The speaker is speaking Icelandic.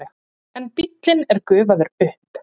En bíllinn er gufaður upp.